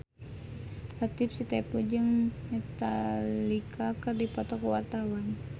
Latief Sitepu jeung Metallica keur dipoto ku wartawan